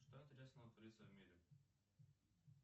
что интересного творится в мире